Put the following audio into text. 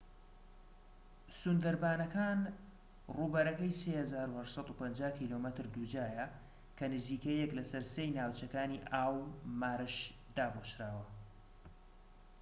سوندەربانەکان ڕووبەرەکەی 3850 کم دووجایە، کە نزیکەی یەک لەسەر سێی ناوچەکانی ئاو/مارش داپۆشراوە